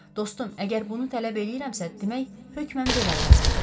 Dostum, əgər bunu tələb eləyirəmsə, demək hökmən belə lazımdır.